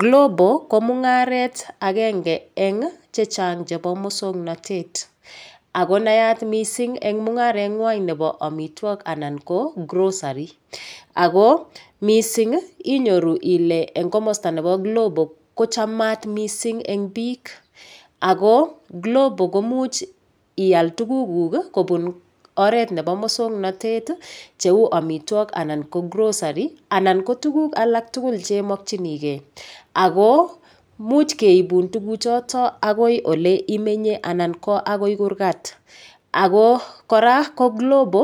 Glovo ko mung'aret agenge eng' chechang' chebo mosong'natet ako nayat mising' eng' mung'areg'wai nebo omitwok anan ko grocery ako mising' inyoru ile eng' komosta nebo glovo kochamat mising' eng' biik ako glovo komuch ial tugukuk kobun oret nebo mosong'natet cheu omitwok anan ko grocery anan ko tuguk alak tugul chemokchinigei ako much keibun tuguchoto agoi ole imenye anan ko akoi kurgat ako kora ko glovo